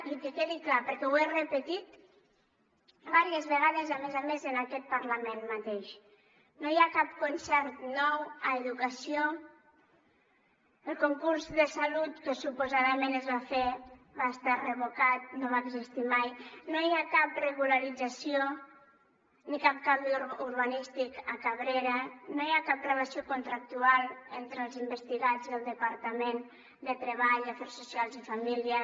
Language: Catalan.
i que quedi clar perquè ho he repetit diverses vegades a més a més en aquest parlament mateix no hi ha cap concert nou a educació el concurs de salut que suposadament es va fer va estar revocat no va existir mai no hi ha cap regularització ni cap canvi urbanístic a cabrera no hi ha cap relació contractual entre els investigats i el departament de treball afers socials i família